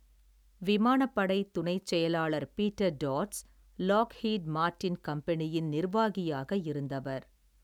விமானப்படைத் துணைச் செயலாளர் Peter Teets Lockheed Martin கம்பெனியின் நிர்வாகியாக இருந்தவர்.